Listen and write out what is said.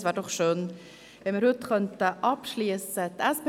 Es wäre schön, wenn wir heute abschliessen könnten.